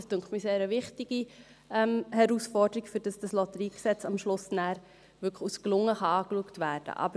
Das scheint mir eine sehr wichtige Herausforderung, damit das LotG am Schluss wirklich als gelungen angesehen werden kann.